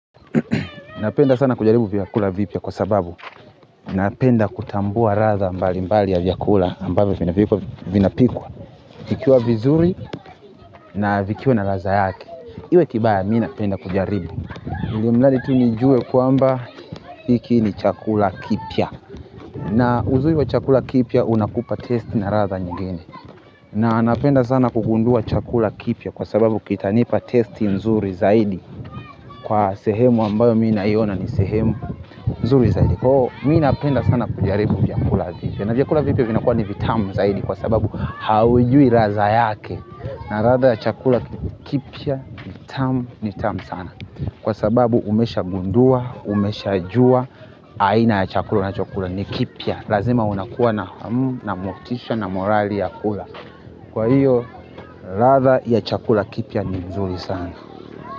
Napenda sana kujaribu vyakula vipya kwa sababu napenda kutambua ladha mbali mbali ya vyakula ambavyo vinapikwa vikiwa vizuri na vikiwa na ladha yake kiwe kibaya minapenda kujaribu ilimradi tu nijue kwamba hiki ni chakula kipya na uzuri wa chakula kipya unakupa taste na ladha nyingine na napenda sana kugundua chakula kipya kwa sababu kitanipa testi nzuri zaidi kwa sehemu ambayo minaiona ni sehemu nzuri zaidi kwa hiyo minapenda sana kujaribu vyakula vipya na vyakula vipya vinakuwa ni vitamu zaidi kwa sababu haujui ladha yake na ladha ya chakula kipya ni tamu ni tamu sana kwa sababu umesha gundua, umesha jua, aina ya chakula unachokula ni kipya lazima unakuwa na hamu na motisha na morali ya kula kwa hiyo ladha ya chakula kipya ni nzuri sana.